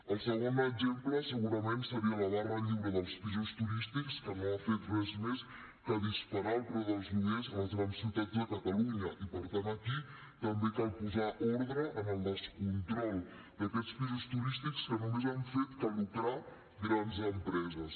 el segon exemple segurament seria la barra lliure dels pisos turístics que no ha fet res més que disparar el preu dels lloguers a les grans ciutats de catalunya i per tant aquí també cal posar ordre en el descontrol d’aquests pisos turístics que només han fet que lucrar grans empreses